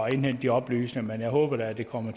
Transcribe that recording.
indhente de oplysninger men jeg håber da at det kommer